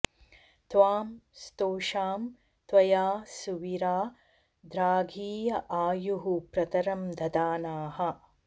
त्वां स्तो॑षाम॒ त्वया॑ सु॒वीरा॒ द्राघी॑य॒ आयुः॑ प्रत॒रं दधा॑नाः